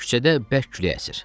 Küçədə bərk külək əsir.